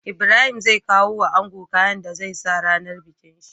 Ibrahim zai kawo wa ango kayan da zai sa rAnar bikin shi